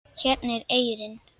Hérna er eyrin.